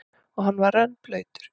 Og hann var rennblautur.